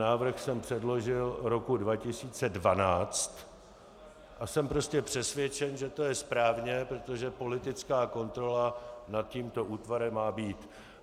Návrh jsem předložil roku 2012 a jsem prostě přesvědčen, že to je správně, protože politická kontrola nad tímto útvarem má být.